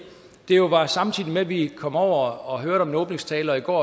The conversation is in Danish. det jo var samtidig med at vi kom over og hørte en åbningstale og i går